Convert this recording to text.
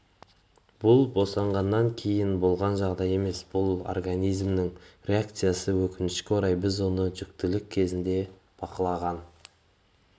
бұл босанғаннан кейін болған жағдай емес бұл организмнің реакциясы өкінішке орай біз оны жүктілік кезінде бақылаған